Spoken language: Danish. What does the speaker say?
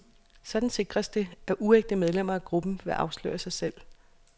Sådan sikres det, at uægte medlemmer af gruppen vil afsløre sig selv.